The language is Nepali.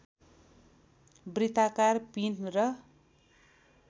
वृत्ताकार पिँध र